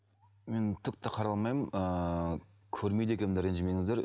мен түк те қарай алмаймын ыыы көрмейді екенмін де ренжімеңіздер